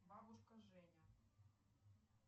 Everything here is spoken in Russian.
бабушка женя